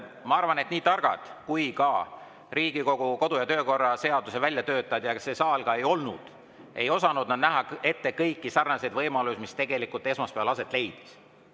Ma arvan, et nii targad kui Riigikogu kodu‑ ja töökorra seaduse väljatöötajad ja see saal ka ei olnud, ei osanud nad näha ette kõike seda, mis esmaspäeval aset leidis.